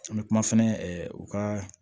An bɛ kuma fɛnɛ ɛɛ u ka